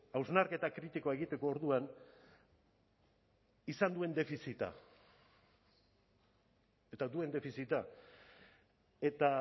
hausnarketa kritikoa egiteko orduan izan duen defizita eta duen defizita eta